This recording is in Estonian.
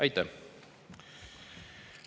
Aitäh!